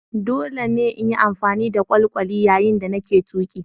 Dole ne in yi amfani da kwalkwali yayin da nake tuki.